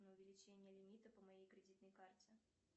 на увеличение лимита по моей кредитной карте